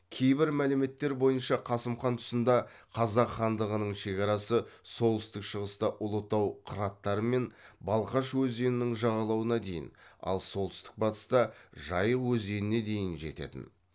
кейбір мәліметтер бойынша қасым хан тұсында қазақ хандығының шекарасы солтүстік шығыста ұлытау қыраттары мен балқаш өзенінің жағалауына дейін ал солтүстік батыста жайық өзеніне дейін жететін